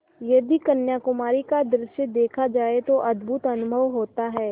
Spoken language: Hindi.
यदि कन्याकुमारी का दृश्य देखा जाए तो अद्भुत अनुभव होता है